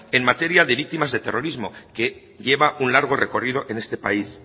en materia de víctimas de terrorismo que lleva un largo recorrido en este país